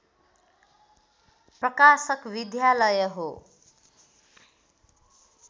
प्रकाशक विद्यालय हो